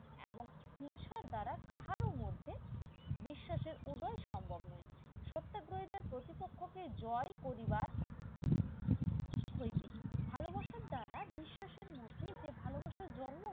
এবং হিংসার দ্বারা তাহারও মধ্যে বিশ্বাসের উদয়ে সম্ভব নয় সত্যাগ্রহ প্রতিপক্ষ কে জয় করিবার হইবে ভালোবাসার দ্বারা বিশ্বাসের মধ্যে যে ভালোবাসার জন্ম